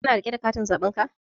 Ka na riƙe da katin zaɓen ka?